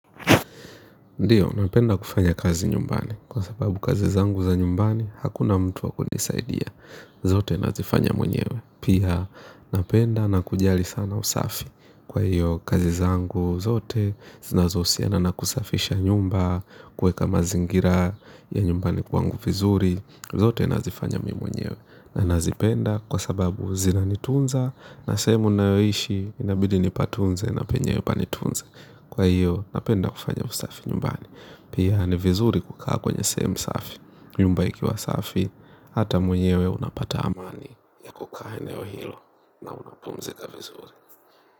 Ndio napenda kufanya kazi nyumbani kwa sababu kazi zangu za nyumbani hakuna mtu wa kunisaidia zote nazifanya mwenyewe pia napenda na kujali sana usafi. Kwa hiyo kazi zangu zote, zinazohusiana na kusafisha nyumba, kuweka mazingira ya nyumbani kwangu vizuri. Zote nazifanya mi mwenyewe, na nazipenda kwa sababu zinanitunza, na sehemu nayoishi, inabidi nipatunze na penyewe panitunze. Kwa hiyo napenda kufanya usafi nyumbani. Pia ni vizuri kukaa kwenye sehemu safi. Nyumba ikiwa safi hata mwenyewe unapata amani ya kukaa eneo hilo na unapumzika vizuri.